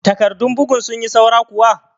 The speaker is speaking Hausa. Takarɗun bugun sun yi saura kuwa?